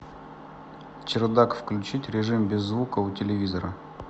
чердак включить режим без звука у телевизора